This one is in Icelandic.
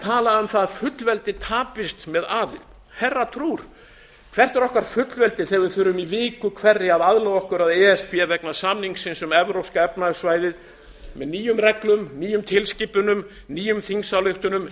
tala um að fullveldi tapist með aðild herra trúr hvert er okkar fullveldi þegar við þurfum í viku hverri að laga okkur að e s b vegna samningsins um evrópska efnahagssvæðið með nýjum reglum nýjum tilskipunum nýjum þingsályktunum og